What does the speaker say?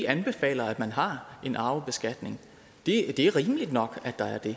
anbefaler at man har en arvebeskatning det er rimeligt nok at der er det